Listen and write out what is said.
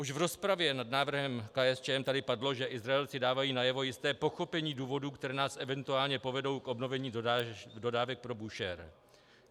Už v rozpravě nad návrhem KSČM tady padlo, že Izraelci dávají najevo jisté pochopení důvodů, které nás eventuálně povedou k obnovení dodávek pro Búšehr.